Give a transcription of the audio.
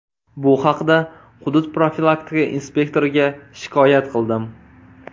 Bu haqda hudud profilaktika inspektoriga shikoyat qildim.